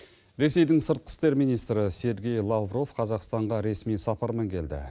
ресейдің сыртқы істер министрі сергей лавров қазақстанға ресми сапармен келді